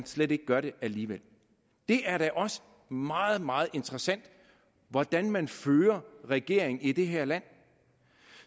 slet ikke gør det alligevel det er da også meget meget interessant hvordan man fører regering i det her land